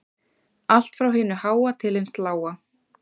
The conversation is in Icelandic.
Allt frá hinu háa til hins lága